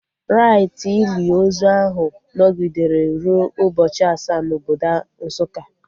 Raiti ili ozu ahu nọgidere rue ụbọchị asaa na obodo Nsukka